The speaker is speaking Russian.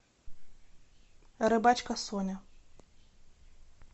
рыбачка соня